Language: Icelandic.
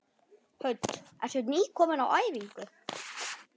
Hödd: Ertu nýkominn á æfingu?